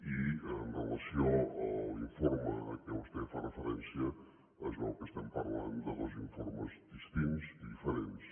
i amb relació a l’informe a què vostè fa referència es veu que estem parlant de dos informes distints i diferents